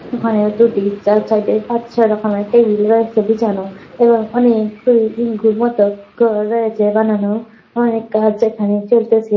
ওখানেও দুটি চার চারটে পাঁচ ছয় রকমের টেবিল রয়েছে বিছানো। এবং অনেক বানানো। অনেক গাছ এখানে চলতেছে।